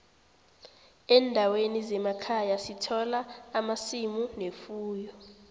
endaweni zemakhaya sithola amasimu nefuyo